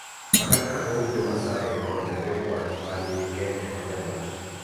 Mana kaka dho ut Jo-Maasai kod jokwath ma ni Kenya ma nyandwat�